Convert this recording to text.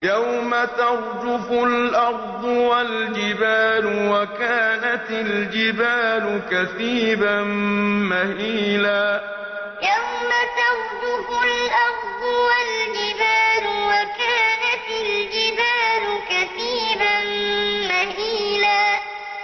يَوْمَ تَرْجُفُ الْأَرْضُ وَالْجِبَالُ وَكَانَتِ الْجِبَالُ كَثِيبًا مَّهِيلًا يَوْمَ تَرْجُفُ الْأَرْضُ وَالْجِبَالُ وَكَانَتِ الْجِبَالُ كَثِيبًا مَّهِيلًا